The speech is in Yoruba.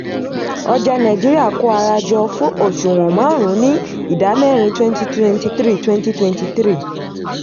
ọjà nàìjíríà kó ara jọ fún òṣùwọ̀n márùn-ún ní ìdámẹ́rin twenty twenty three twenty twenty three